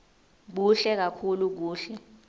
kuhle kakhulu kuhle